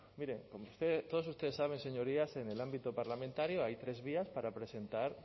mire todos ustedes saben señorías en el ámbito parlamentario hay tres vías para presentar